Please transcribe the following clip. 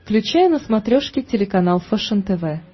включай на смотрешке телеканал фэшен тв